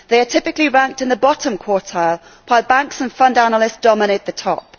They are typically ranked in the bottom quartile, while banks and fund analysts dominate the top.